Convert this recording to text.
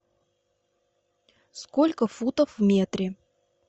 сколько футов в метре